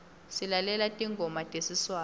silalela tingoma tesiswati